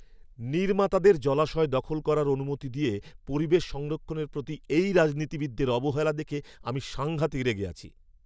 নির্মাতাদের জলাশয় দখল করার অনুমতি দিয়ে পরিবেশ সংরক্ষণের প্রতি এই রাজনীতিবিদের অবহেলা দেখে আমি সাঙ্ঘাতিক রেগে আছি।